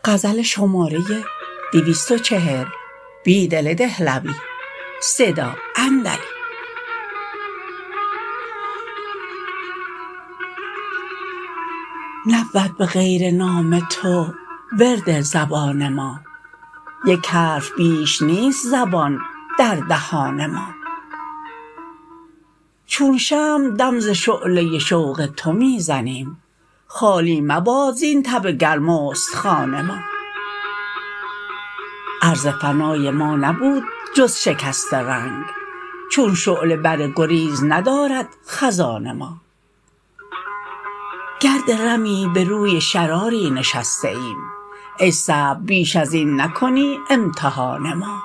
نبود به غیر نام تو ورد زبان ما یک حرف بیش نیست زبان در دهان ما چون شمع دم ز شعله شوق تو می زنیم خالی مباد زین تب گرم استخوان ما عرض فنای ما نبود جز شکست رنگ چون شعله بر گریز ندارد خزان ما گرد رمی به روی شراری نشسته ایم ای صبر بیش ازین نکنی امتحان ما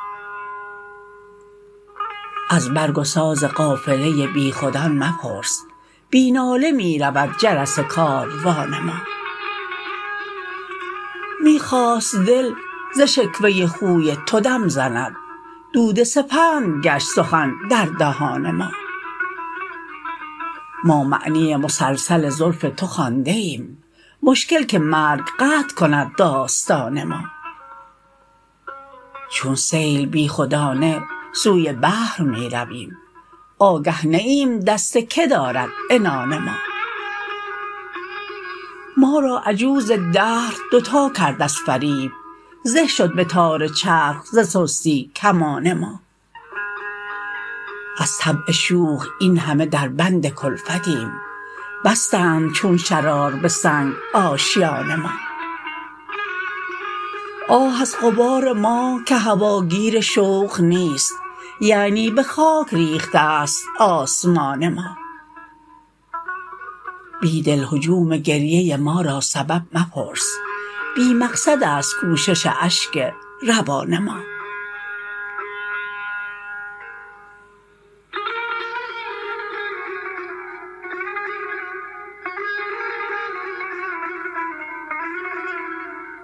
از برگ و ساز قافله بیخودان مپرس بی ناله می رود جرس کاروان ما می خواست دل ز شکوه خوی تو دم زند دود سپند گشت سخن در دهان ما ما معنی مسلسل زلف تو خوانده ایم مشکل که مرگ قطع کند داستان ما چون سیل بیخودانه سوی بحر می رویم آگه نه ایم دست که دارد عنان ما ما را عجوز دهر دوتا کرد از فریب زه شد به تار چرخ ز سستی کمان ما از طبع شوخ این همه در بند کلفتیم بستند چون شرار به سنگ آشیان ما آه از غبار ما که هواگیر شوق نیست یعنی به خاک ریخته است آسمان ما بیدل هجوم گریه ما را سبب مپرس بی مقصد است کوشش اشک روان ما